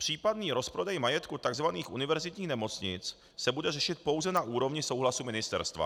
Případný rozprodej majetku tzv. univerzitních nemocnic se bude řešit pouze na úrovni souhlasu ministerstva.